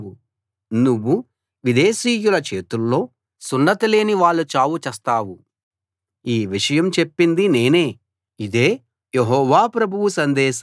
నువ్వు విదేశీయుల చేతుల్లో సున్నతిలేని వాళ్ళ చావు చస్తావు ఈ విషయం చెప్పింది నేనే ఇదే యెహోవా ప్రభువు సందేశం